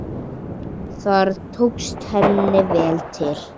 Þar tókst henni vel til.